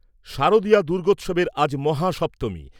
শারদীয়া দুর্গোৎসবের আজ মহা সপ্তমী।